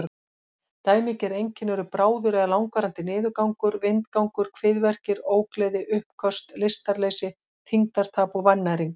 Dæmigerð einkenni eru bráður eða langvarandi niðurgangur, vindgangur, kviðverkir, ógleði, uppköst, lystarleysi, þyngdartap og vannæring.